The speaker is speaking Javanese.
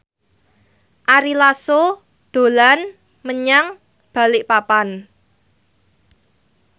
Ari Lasso dolan menyang Balikpapan